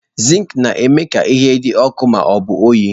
Zinki na-eme ka ihe dị ọkụ ma ọ bụ oyi.